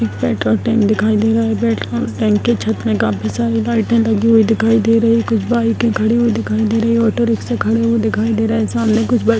एक petrol pump दिखाई दे रहा है | रेड के छत में काफी सारी लाइटें लगी हुई दिखाई दे रहीं हैं | कुछ बाइकें खड़ी हुई दिखाई दे रही हैं ऑटो रिक्शा खड़े हुए दिखाई दे रहा है सामने कुछ बस --